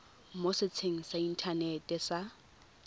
mo setsheng sa inthanete sa